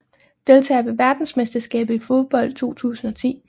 Deltagere ved verdensmesterskabet i fodbold 2010